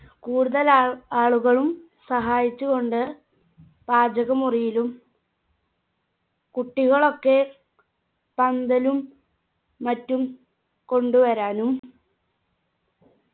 കൂടുതൽ ആ ആളുകളും സഹായിച്ചുകൊണ്ട് പാചക മുറിയിലും കുട്ടികളൊക്കെ പന്തലും മറ്റും കൊണ്ടുവരാനും